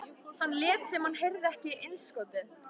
Hann lét sem hann heyrði ekki innskotið.